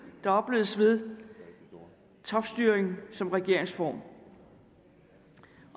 der opleves ved topstyring som regeringsform